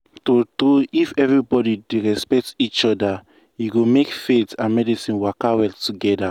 true true if everybody dey respect each other e go make faith and medicine waka well togethe